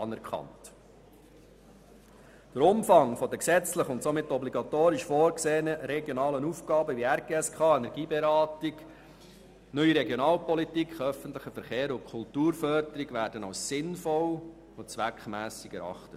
Der Umfang der gesetzlich und somit obligatorisch vorgesehenen Aufgaben wie die Umsetzung der RGSK, die Energieberatung, die NRP, der öffentliche Verkehr und die Kulturförderung wird als sinnvoll und zweckmässig erachtet.